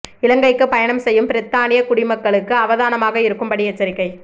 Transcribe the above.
இலங்கைக்கு பயணம் செய்யும் பிரித்தானியக் குடிமக்களுக்கு அவதானமாக இருக்கும் படி எச்சரிக்கை